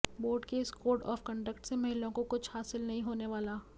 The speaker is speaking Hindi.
बोर्ड के इस कोड ऑफ कंडक्ट से महिलाओं को कुछ हासिल नहीं होने वाला